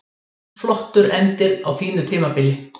Flottur endir á fínu tímabili